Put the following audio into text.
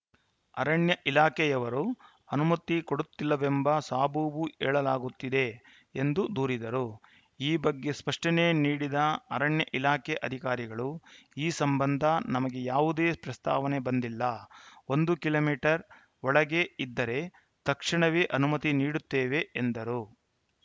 ಅರಣ್ಯ ಇಲಾಖೆಯವರು ಅನುಮತಿ ಕೊಡುತ್ತಿಲ್ಲವೆಂಬ ಸಬೂಬು ಹೇಳಲಾಗುತ್ತಿದೆ ಎಂದು ದೂರಿದರು ಈ ಬಗ್ಗೆ ಸ್ಪಷ್ಟನೆ ನೀಡಿದ ಅರಣ್ಯ ಇಲಾಖೆ ಅಧಿಕಾರಿಗಳು ಈ ಸಂಬಂಧ ನಮಗೆ ಯಾವುದೇ ಪ್ರಸ್ತಾವನೆ ಬಂದಿಲ್ಲ ಒಂದು ಕಿಮೀಟರ್ ಒಳಗೆ ಇದ್ದರೆ ತಕ್ಷಣವೇ ಅನುಮತಿ ನೀಡುತ್ತೇವೆ ಎಂದರು